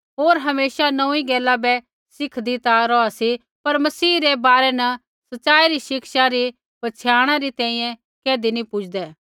होर हमेशा नोंऊँई गैला बै सिखदी ता रौहा सी पर मसीह रै बारै न सच़ाई री शिक्षा री पछ़ियाणा तैंईंयैं कैधी नी पुजदै